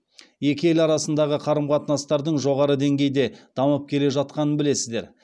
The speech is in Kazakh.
екі ел арасындағы қарым қатынастардың жоғары деңгейде дамып келе жатқанын білесіздер